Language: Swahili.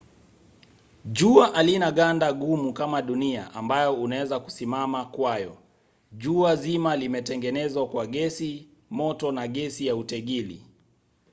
jua halina ganda gumu kama dunia ambayo unaweza kusimama kwayo. jua zima limetengenezwa kwa gesi moto na gesi ya utegili